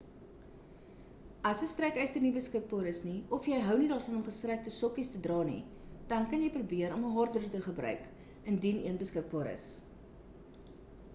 as 'n strykyster nie beskikbaar is nie of jy hou nie daarvan om gestrykte sokkies te dra nie dan kan jy probeer om 'n haardroeër te gebruik indien een beskikbaar is